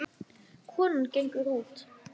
Konan gengur út.